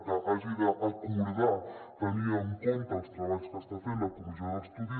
que hagi d’acordar tenint en compte els treballs que està fent la comissió d’estudi